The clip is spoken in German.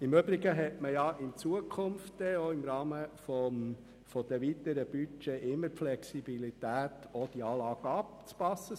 Im Übrigen besteht dann in Zukunft im Rahmen der weiteren Budgets immer die Flexibilität, die Anlage anzupassen.